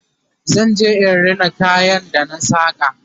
zan je in Rina kayan ga da na saka